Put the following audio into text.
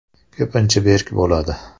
Ko‘pincha berk bo‘ladi.